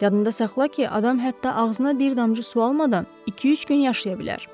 Yadında saxla ki, adam hətta ağzına bir damcı su almadan iki-üç gün yaşaya bilər.